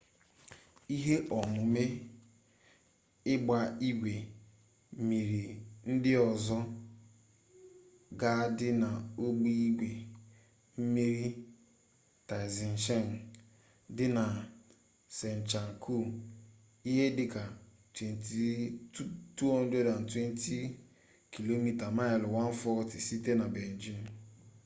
ihe omume igba-igwe mmiri ndi ozo ga adi na ogbe igwe mmiri taizicheng di na zhangjiakou ihe dika 220 km mailu 140 site nabeijing